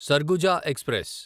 Surguja express